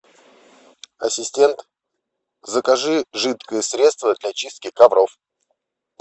ассистент закажи жидкое средство для чистки ковров